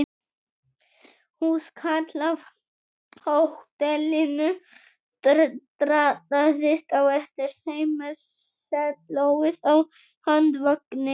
Húskarl af hótelinu drattaðist á eftir þeim með sellóið á handvagni.